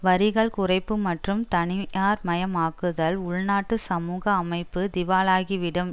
வரிகள் குறைப்பு மற்றும் தனியார்மயமாக்குதல் உள்நாட்டு சமூக அமைப்பு திவாலாகிவிடும்